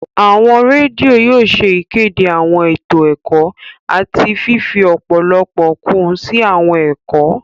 Awọn redio yóò ṣe ìkéde awọn eto ẹkọ àti fifi ọpọlọpọ kun si awọn ẹkọ